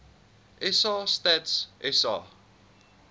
sa stats sa